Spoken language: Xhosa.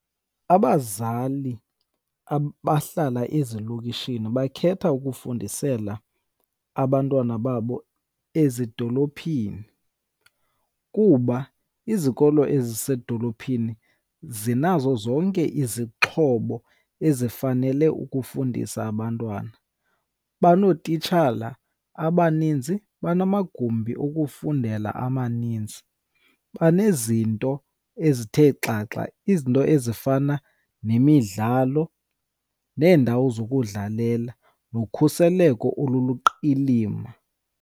Abazali abahlala ezilokishini bakhetha ukufundisela abantwana babo ezidolophini kuba izikolo ezisezidolophini zinazo zonke izixhobo ezifanele ukufundisa abantwana. Banootitshala abaninzi, banamagumbi okufundela amaninzi. Banezinto ezithe xaxa, izinto ezifana nemidlalo neendawo zokudlalela nokhuseleko oluluqilima.